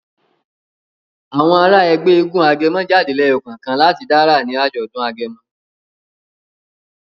Àwọn àrà Ègbé éégun agẹmọ jáde leyo kánkan lati dá àrà ní ajọdun agẹmọ.